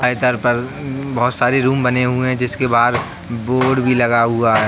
और इधर पर बोहोत सारे रूम बने हुए हैं जिसके बाहर बोर्ड भी लगा हुआ हैं।